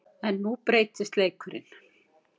En nú breytist leikurinn.